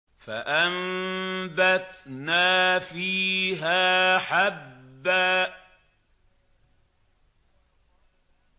فَأَنبَتْنَا فِيهَا حَبًّا